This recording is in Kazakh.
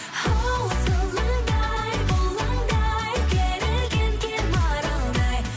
хоу сылаңдай бұлаңдай керілген кер маралдай